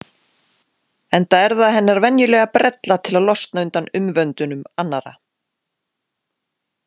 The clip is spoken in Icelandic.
Enda er það hennar venjulega brella til að losna undan umvöndunum annarra.